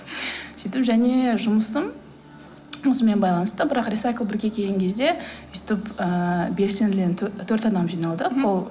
сөйтіп және жұмысым осымен байланысты бірақ рисайклбірге келген кезде өстіп ыыы белсендіден төрт адам жиналдық ол